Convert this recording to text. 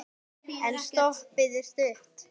En stoppið er stutt.